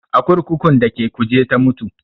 A kurkukun da ke Kuje ta mutu